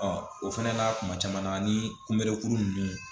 o fɛnɛ na kuma caman na ni kunbɛ kuru nunnu